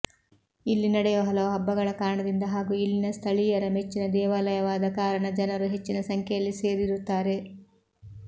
ಇಲ್ಲಿ ನಡೆಯುವ ಹಲವು ಹಬ್ಬಗಳ ಕಾರಣದಿಂದ ಹಾಗೂ ಇಲ್ಲಿನ ಸ್ಥಳೀಯರ ಮೆಚ್ಚಿನ ದೇವಾಲಯವಾದ ಕಾರಣ ಜನರು ಹೆಚ್ಚಿನ ಸಂಖ್ಯೆಯಲ್ಲಿ ಸೇರಿರುತ್ತಾರೆ